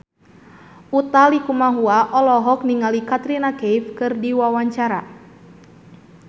Utha Likumahua olohok ningali Katrina Kaif keur diwawancara